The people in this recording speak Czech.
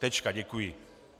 Tečka, děkuji.